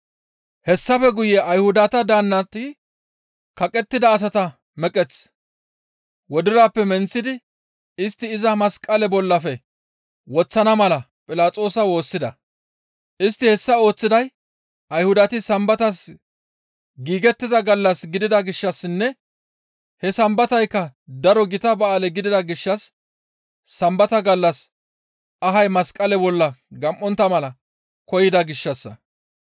Hessafe guye Ayhudata daannati kaqettida asata meqeth wodirappe menththidi istti iza masqale bollafe woththana mala Philaxoosa woossida. Istti hessa ooththiday Ayhudati sambatas giigettiza gallas gidida gishshassinne he sambataykka daro gita ba7aale gidida gishshas Sambata gallas ahay masqale bolla gam7ontta mala koyida gishshassa.